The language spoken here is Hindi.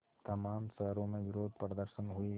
तमाम शहरों में विरोधप्रदर्शन हुए